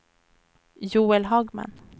Joel Hagman